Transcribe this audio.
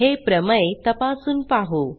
हे प्रमेय तपासून पाहू